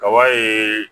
Kaba ye